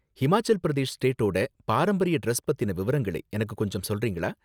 ஹிமாச்சல் பிரதேஷ் ஸ்டேட்டோட பாரம்பரிய டிரஸ் பத்தின விவரங்களை எனக்கு கொஞ்சம் சொல்றீங்களா?